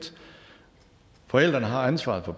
forældrene har ansvaret for